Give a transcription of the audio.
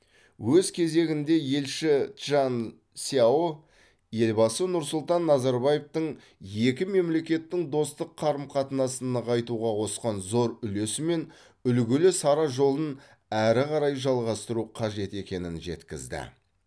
өз кезегінде елші чжан сяо елбасы нұрсұлтан назарбаевтың екі мемлекеттің достық қарым қатынасын нығайтуға қосқан зор үлесі мен үлгілі сара жолын әрі қарай жалғастыру қажет екенін жеткізді